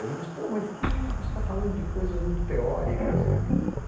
Alguém diz Pô, mas que, você está falando de coisas muito teóricas, né.